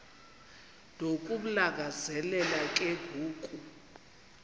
nokumlangazelela ke ngoku